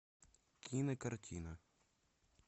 кинокартина